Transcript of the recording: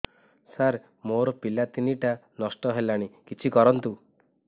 ସାର ମୋର ପିଲା ତିନିଟା ନଷ୍ଟ ହେଲାଣି କିଛି କରନ୍ତୁ